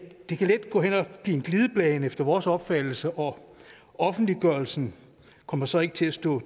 kan let gå hen og blive en glidebane efter vores opfattelse og offentliggørelsen kommer så ikke til at stå